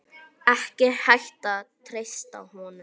Ekki hægt að treysta honum.